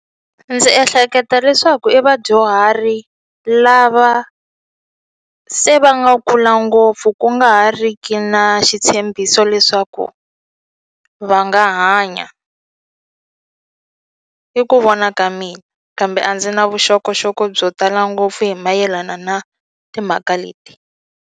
Ndzi ehleketa leswaku i vadyuhari lava se va nga kula ngopfu ku nga ha ri ki na xitshembiso leswaku va nga hanya i ku vona ka mina kambe a ndzi na vuxokoxoko byo tala ngopfu hi mayelana na timhaka leti.